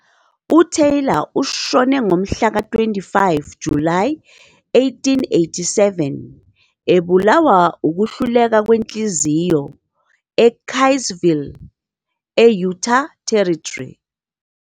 UTaylor ushone ngomhlaka-25 Julayi 1887, ebulawa ukuhluleka kwenhliziyo eKaysville, e-Utah Territory.